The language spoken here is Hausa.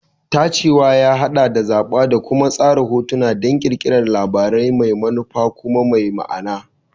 Tacewa ya haɗa da zaɓa da kuma tsara hotuna don ƙirƙirar labari mai manufa kuma mai ma'ana.